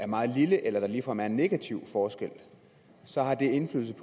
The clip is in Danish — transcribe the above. meget lille eller der ligefrem er en negativ forskel så har indflydelse